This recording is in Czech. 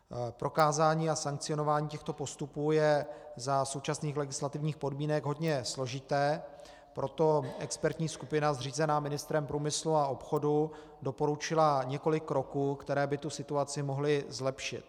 Prokázání a sankcionování těchto postupů je za současných legislativních podmínek hodně složité, proto expertní skupina zřízená ministrem průmyslu a obchodu doporučila několik kroků, které by tu situaci mohly zlepšit.